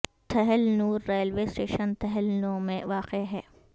تھل Nau railway station Thal Nau میں واقع ہے